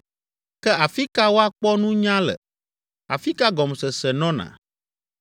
“Ke afi ka woakpɔ nunya le? Afi ka gɔmesese nɔna?